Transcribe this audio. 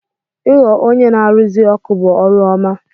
Ị ghọ onye na-arụzi ọkụ bụ ọrụ ọma.